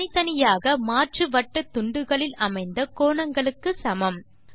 தனித்தனியாக மாற்று வட்டத்துண்டுகளில் அமைந்த கோணங்களுக்கு சமம்